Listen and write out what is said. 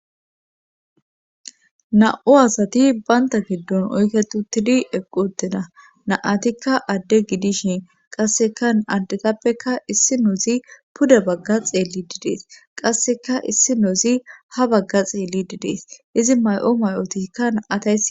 Na'u asati baynta giddon oyketu tidi eqqu ttena naatikka adde gidishin qasseka addetappeka issi noozi puda bagga xeelli didees qasseka issi noozi ha bagga xeelli didees izi may'o may'otikka naatay.